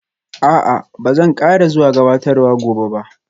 A'a, ba zan ƙara zuwa gabatarwar gobe ba